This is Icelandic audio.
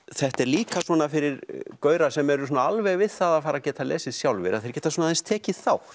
þetta er líka svona fyrir sem eru alveg við það að fara að geta lesið sjálfir að þeir geta aðeins tekið þátt